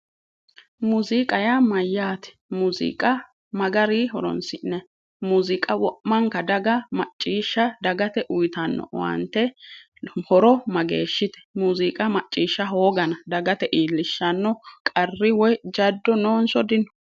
Muuziiqa yaa mayyaate? muuziiqa ma garinni horonsi'nayi? muuziiqa wo'manka daga maccishsha dagaye uuyiitanno horo mageeshshite? muuziiqa macciishsha hooga dagate iillishshanno qarri woyi jaddo noonso dino?